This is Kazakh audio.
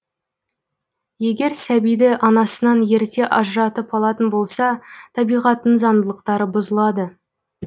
егер сәбиді анасынан ерте ажыратып алатын болса табиғаттың заңдылықтары бұзылады